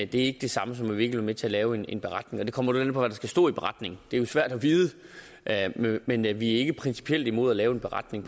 det er ikke det samme som vi ikke vil til at lave en beretning det kommer lidt an på hvad der skal stå i beretningen det er jo svært at vide men vi er ikke principielt imod at lave en beretning